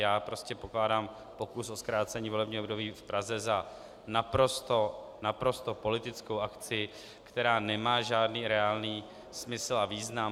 Já prostě pokládám pokus o zkrácení volebního období v Praze za naprosto politickou akci, která nemá žádný reálný smysl a význam.